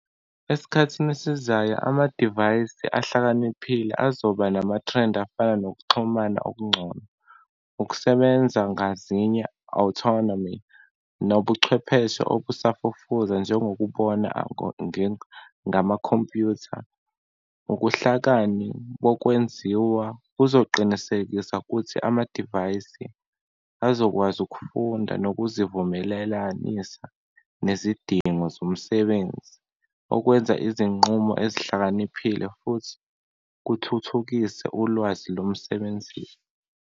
Esikhathini esizayo, amadivayisi ahlakaniphile azoba nama-trend afana nokuxhumana okungcono, ukusebenza ngazinye, autonomy, nobuchwepheshe obusafufuza njengokubona ngamakhompyutha. Ukuhlakani bokwenziwa kuzoqinisekisa kuthi amadivayisi azokwazi ukufunda nokuzivumelelanisa nezidingo zomsebenzi, okwenza izinqumo ezihlakaniphile futhi kuthuthukise ulwazi lomsebenzi.